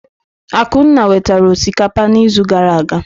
Akunna wetara osikapa n'izu gara aga.